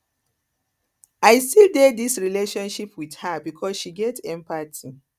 i still dey dis relationship wit her because she get empathy